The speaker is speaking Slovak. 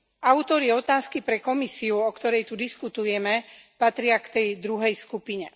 Autori otázky pre Komisiu, o ktorej tu diskutujeme, patria k tej druhej skupine.